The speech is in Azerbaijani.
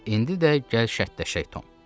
İndi də gəl şərtləşək, Tom.